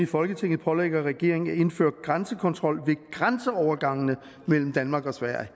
folketinget pålægger regeringen at indføre grænsekontrol ved grænseovergangene mellem danmark og sverige